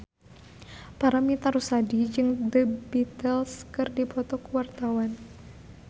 Paramitha Rusady jeung The Beatles keur dipoto ku wartawan